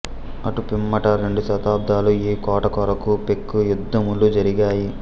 అటు పిమ్మట రెండు శతాబ్దములు ఈ కోట కొరకు పెక్కుయుద్ధములు జరిగాయి